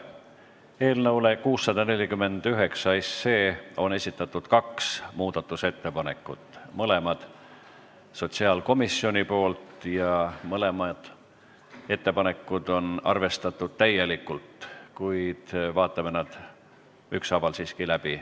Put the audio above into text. Eelnõu 649 kohta on esitatud kaks muudatusettepanekut, mõlemad on sotsiaalkomisjonilt ja arvestatud täielikult, kuid vaatame nad siiski ükshaaval läbi.